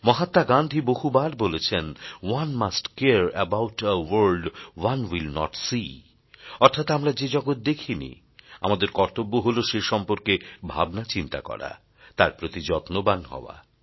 মহাত্মা গান্ধী বহুবার বলেছেন one must care about a world one will not see অর্থাৎ আমরা যে জগৎ দেখিনি আমাদের কর্তব্য হল সে সম্পর্কে ভাবনা চিন্তা করা তার প্রতি যত্নবান হওয়া